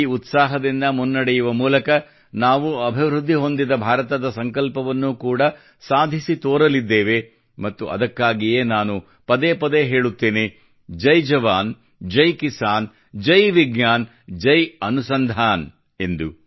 ಈ ಉತ್ಸಾಹದಿಂದ ಮುನ್ನಡೆಯುವ ಮೂಲಕ ನಾವು ಅಭಿವೃದ್ಧಿ ಹೊಂದಿದ ಭಾರತದ ಸಂಕಲ್ಪವನ್ನು ಕೂಡಾ ಸಾಧಿಸಿ ತೋರಲಿದ್ದೇವೆ ಮತ್ತು ಅದಕ್ಕಾಗಿಯೇ ನಾನು ಪದೇ ಪದೇ ಹೇಳುತ್ತೇನೆ ಜೈ ಜವಾನ್ ಜೈ ಕಿಸಾನ್ ಜೈ ವಿಜ್ಞಾನ ಜೈ ಅನುಸಂಧಾನ ಎಂದು